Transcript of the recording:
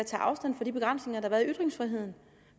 tage afstand fra de begrænsninger der har været i ytringsfriheden